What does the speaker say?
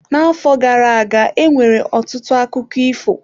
N'afọ gara aga, e nwere ọtụtụ akụkọ ifo ịkọ.